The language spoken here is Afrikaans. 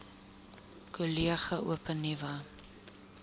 kollege open nuwe